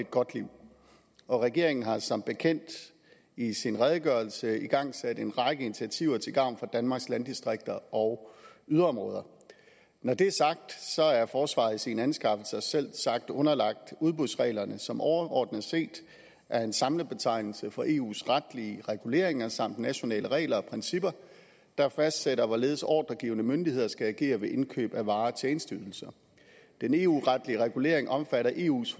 godt liv og regeringen har som bekendt i sin redegørelse igangsat en række initiativer til gavn for danmarks landdistrikter og yderområder når det er sagt er forsvaret i sine anskaffelser selvsagt underlagt udbudsreglerne som overordnet set er en samlet betegnelse for eus retlige reguleringer samt nationale regler og principper der fastsætter hvorledes ordregivende myndigheder skal agere ved indkøb af varer og tjenesteydelser den eu retlige regulering omfatter eus